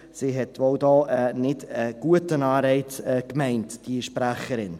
» Sie meinte wohl hier nicht einen guten Anreiz, die Sprecherin.